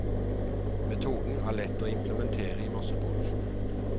Metoden er lett å implementere i masseproduksjon.